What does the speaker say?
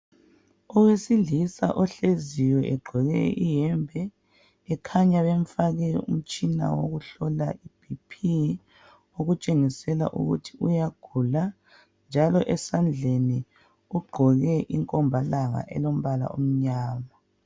Owesilisa ohleziyo egqoke iyembe ekhanya bemfake umtshina wokuhlola i"BP" okutshengisela ukuthi uyagula njalo esandleni ugqoke inkombalanga emnyama.